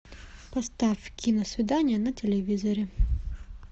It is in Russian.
поставь киносвидание на телевизоре